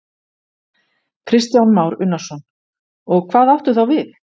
Kristján Már Unnarsson: Og hvað áttu þá við?